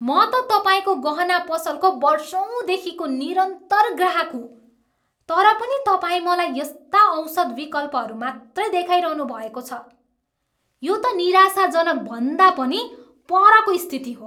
म त तपाईँको गहना पसलको बर्षौँदेखिको निरन्तर ग्राहक हुँ, तर पनि तपाईँ मलाई यस्ता औसत विकल्पहरू मात्रै देखाइरहनु भएको छ? यो त निराशाजनक भन्दा पनि परको स्थिति हो।